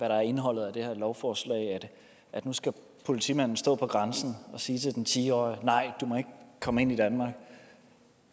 der er indholdet af det her lovforslag nu skal politimanden stå på grænsen og sige til den ti årige nej du må ikke komme ind i danmark